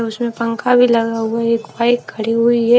और उसमें पंखा भी लगा हुआ एक बाइक खड़ी हुई है।